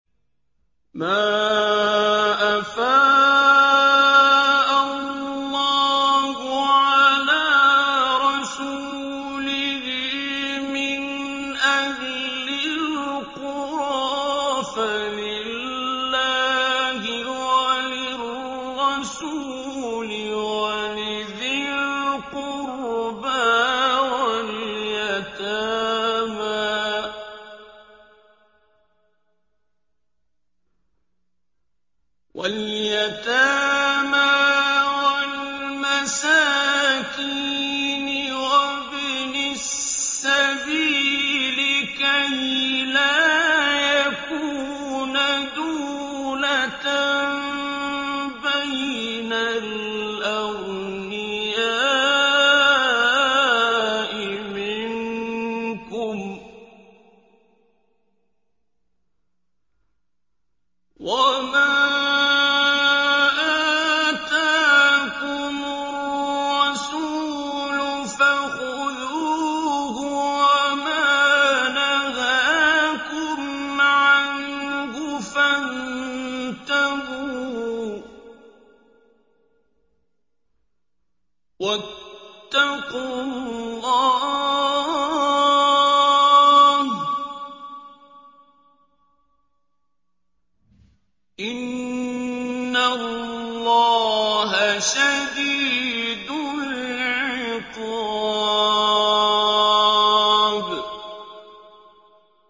مَّا أَفَاءَ اللَّهُ عَلَىٰ رَسُولِهِ مِنْ أَهْلِ الْقُرَىٰ فَلِلَّهِ وَلِلرَّسُولِ وَلِذِي الْقُرْبَىٰ وَالْيَتَامَىٰ وَالْمَسَاكِينِ وَابْنِ السَّبِيلِ كَيْ لَا يَكُونَ دُولَةً بَيْنَ الْأَغْنِيَاءِ مِنكُمْ ۚ وَمَا آتَاكُمُ الرَّسُولُ فَخُذُوهُ وَمَا نَهَاكُمْ عَنْهُ فَانتَهُوا ۚ وَاتَّقُوا اللَّهَ ۖ إِنَّ اللَّهَ شَدِيدُ الْعِقَابِ